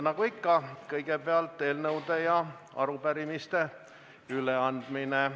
Nagu ikka on kõigepealt eelnõude ja arupärimiste üleandmine.